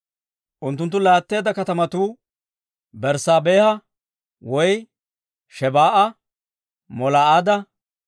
Unttunttu laatteedda katamatuu Berssaabeha woy Shebaa'a, Molaada,